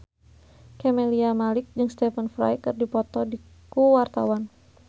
Camelia Malik jeung Stephen Fry keur dipoto ku wartawan